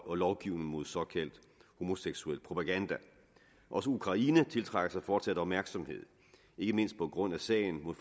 og lovgivning mod såkaldt homoseksuel propaganda også ukraine tiltrækker sig fortsat opmærksomhed ikke mindst på grund af sagen mod